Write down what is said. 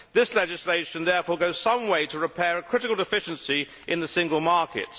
This legislation therefore goes some way to repairing a critical deficiency in the single market.